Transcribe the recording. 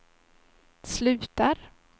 slutar